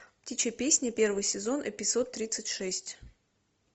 птичья песня первый сезон эпизод тридцать шесть